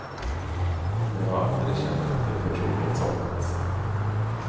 Men jag har aldrig känt att det förtroendet saknats.